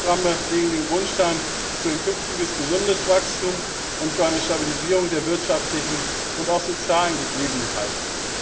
Die Reformprogramme legen den Grundstein für ein künftiges gesundes Wachstum und für eine Stabilisierung der wirtschaftlichen und sozialen Gegebenheiten.